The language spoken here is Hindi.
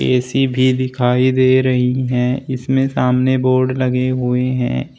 ए_सी भी दिखाई दे रही है इसमें सामने बोर्ड लगे हुए हैं।